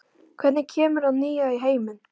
Hvernig kemur það nýja í heiminn?